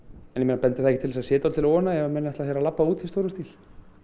en bendir það ekki til þess að það sé dálítil óánægja ef menn ætla að labba hér út í stórum stíl